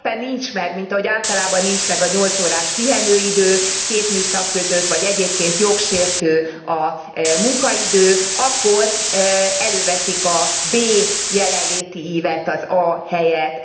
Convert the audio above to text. Ha éppen nincs meg mint ahogy általában nincs meg a nyolc órás pihenőidő két műszak között, vagy egyébként jogsértő a munkaidő, akkor előveszik a B jelenléti ívet, az A helyett.